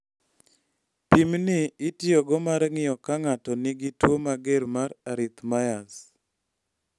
Pim ni itiyogo mar ng�iyo ka ng�ato nigi tuo mager mar arrhythmias.